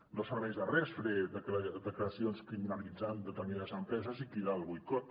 no serveix de res fer declaracions criminalitzant determinades empreses i cridar al boicot